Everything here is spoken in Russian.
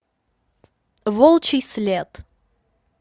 волчий след